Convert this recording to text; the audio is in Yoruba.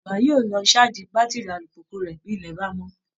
Bàbá yóò lọ ṣáàjì bátìrì alùpùpù rẹ̀ bí ilẹ̀ bá mọ́